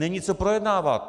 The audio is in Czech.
Není co projednávat.